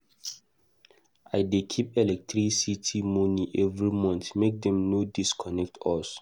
I dey keep electricity moni every month make dem no disconnect us.